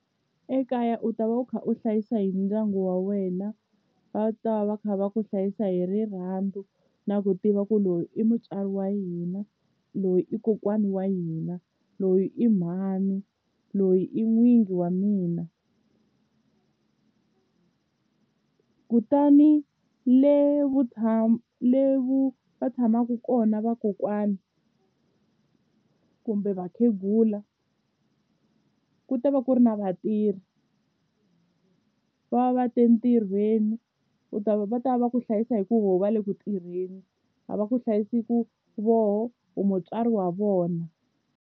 Ekaya u ta va u kha u hlayisa hi ndyangu wa wena va ta va va kha va ku hlayisa hi rirhandzu na ku tiva ku loyi i mutswari wa hina loyi i kokwana wa hina loyi i mhani loyi i n'wingi wa mina kutani le va tshamaka kona vakokwani kumbe vakhegula ku ta va ku ri na vatirhi va va va te entirhweni u ta va va ta va ku hlayisa hi ku vo va le ku tirheni a va ku hlayisi ku voho u mutswari wa vona.